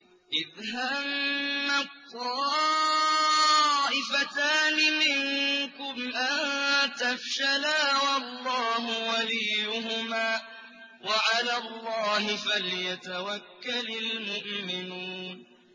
إِذْ هَمَّت طَّائِفَتَانِ مِنكُمْ أَن تَفْشَلَا وَاللَّهُ وَلِيُّهُمَا ۗ وَعَلَى اللَّهِ فَلْيَتَوَكَّلِ الْمُؤْمِنُونَ